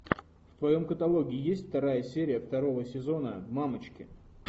в твоем каталоге есть вторая серия второго сезона мамочки